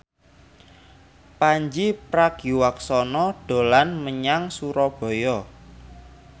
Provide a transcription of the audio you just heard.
Pandji Pragiwaksono dolan menyang Surabaya